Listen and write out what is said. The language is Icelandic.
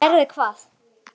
Gerði hvað?